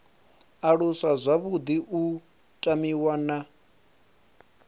aluswa zwavhuḓi u tamiwa na